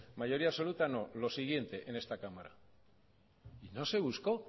mayoría absoluta no lo siguiente en esta cámara no se buscó